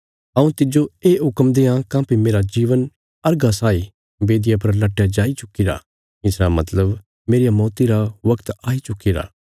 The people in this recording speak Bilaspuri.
हऊँ तिज्जो ये हुक्म देआं काँह्भई मेरा जीवन अर्घा साई बेदिया पर लट्टया जाई चुक्कीरा इसरा मतलब मेरिया मौती रा बगत आई चुक्कीरा